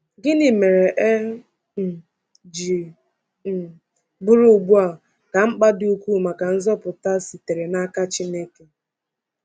Gịnị mere e um ji um bụrụ ugbu a ka mkpa dị ukwuu maka nzọpụta sitere n’aka Chineke?